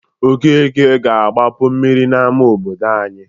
Okeke ga-agbapu mmiri n'ama obodo anyị.